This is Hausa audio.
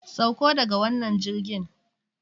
Sauko daga wannan jirgin!